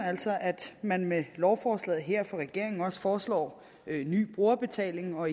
altså at man med lovforslaget her fra regeringens side foreslår ny brugerbetaling og